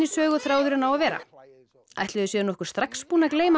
söguþráðurinn á að vera ætli þau séu nokkuð strax búin að gleyma